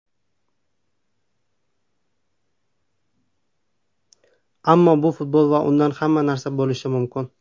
Ammo bu futbol va unda hamma narsa bo‘lishi mumkin.